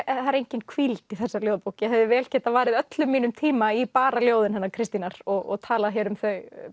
engin hvíld í þessari ljóðabók ég hefði vel getað varið öllum mínum tíma í bara ljóðin hennar Kristínar og talað um þau